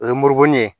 O ye murubin ye